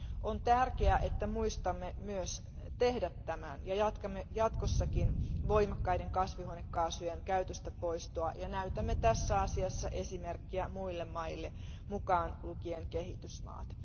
On tärkeää, että muistamme myös huolehtia tästä asiasta ja jatkamme jatkossakin voimakkaiden kasvihuonekaasujen käytöstä poistamista ja näytämme tässä asiassa esimerkkiä muille maille, mukaan lukien kehitysmaat.